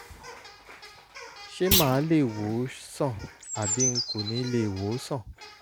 ṣé màá lè wò ó sàn àbí n kò ní lè wò ó sàn?